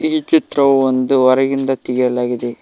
ಈ ಚಿತ್ರವು ಒಂದು ಹೊರಗಿಂದ ತೆಗೆಯಲಾಗಿದೆ.